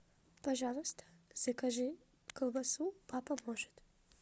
пожалуйста закажи колбасу папа может